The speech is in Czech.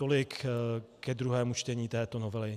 Tolik ke druhému čtení této novely.